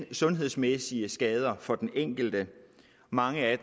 sundhedsmæssige skader for den enkelte mange af